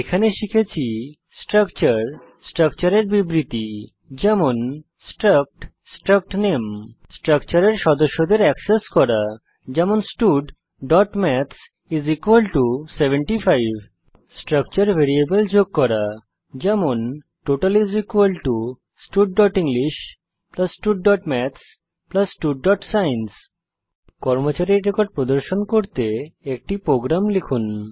এখানে শিখেছি স্ট্রাকচার স্ট্রাকচারের বিবৃতি যেমন স্ট্রাক্ট স্ট্রাক্ট নামে স্ট্রাকচারের সদস্যদের অ্যাক্সেস করা যেমন studমাথস 75 স্ট্রাকচার ভ্যারিয়েবল যোগ করা যেমন টোটাল studenglish studমাথস studসায়েন্স নির্দেশিত কাজ হিসাবে কর্মচারীর রেকর্ড প্রদর্শন করতে একটি প্রোগ্রাম লিখুন